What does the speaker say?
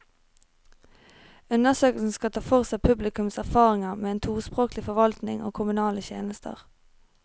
Undersøkelsen skal ta for seg publikums erfaringer med en tospråkelig forvaltning og kommunale tjenester.